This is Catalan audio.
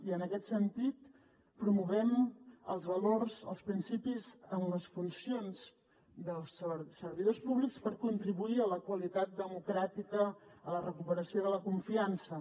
i en aquest sentit promovem els valors els principis en les funcions dels servidors públics per contribuir a la qualitat democràtica a la recuperació de la confiança